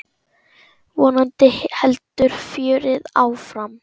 Vonandi heldur fjörið áfram.